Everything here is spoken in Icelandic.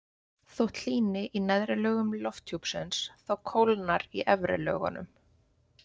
Þótt hlýni í neðri lögum lofthjúpsins þá kólnar í efri lögunum.